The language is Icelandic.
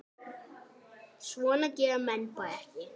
Svona gera menn bara ekki.